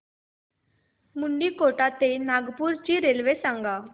मुंडीकोटा ते नागपूर ची रेल्वे सांगा